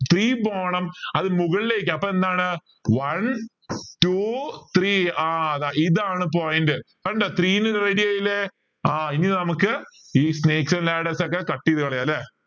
three പോണം അത് മുകളിലേക്ക് അപ്പോൾ എന്താണ് one two three ആഹ് അതാ ഇതാണ് point കണ്ട three ready ആയില്ലേ ആ ഇനി നമുക്ക് cut ചെയ്തു കളയാലെ